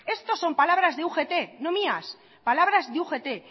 esto son palabras de ugt no mías palabras de ugt